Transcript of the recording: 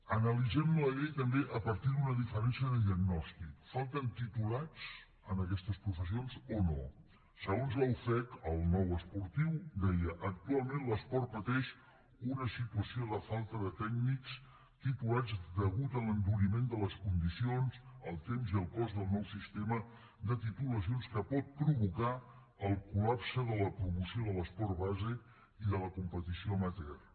analitzem la llei també a partir d’una diferència de diagnòstic falten titulats en aquestes professions o no segons la ufec el nou esportiu deia actualment l’esport pateix una situació de falta de tècnics titulats deguda a l’enduriment de les condicions el temps i el cost del nou sistema de titulacions que pot provocar el col·lapse de la promoció de l’esport base i de la competició amateur